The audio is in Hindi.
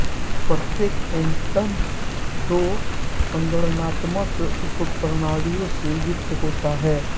प्रत्येक एंटन दो संगणनात्मक उपप्रणालियों से युक्त होता है